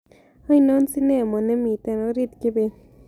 Ainon sinemo nemiten ooriit kibet